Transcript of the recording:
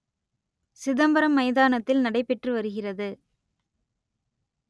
சிதம்பரம் மைதானத்தில் நடைபெற்று வருகிறது